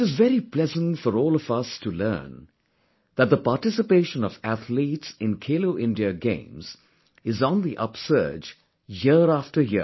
It is very pleasant for all of us to learn that the participation of athletes in 'Khelo India Games' is on the upsurge year after year